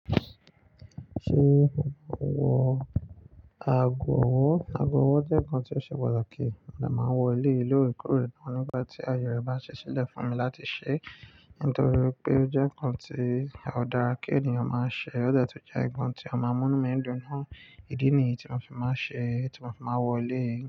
Ṣé mo wọ aago ọwọ́? Aago ọwọ́ jẹ́ nkan tí ó ṣe pàtàkì, mo de máa ń wọ eléyi lóòrekoore nígbà tí aaye rẹ̀ bá ṣi ṣílẹ̀ fún mi láti ṣẹ́ nítorí pé ó jẹ́ nkan tí a ó dára kí ènìyàn máa ṣẹ́, ó de tun jẹ́ nkan tí a máa múnú mi dùn naa. Ìdí nìyí tí mo fi máa n ṣẹ́, tí mo fi máa n wọ eléyìí.